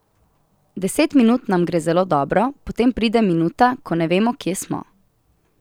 Deset minut nam gre zelo dobro, potem pride minuta, ko ne vemo, kje smo.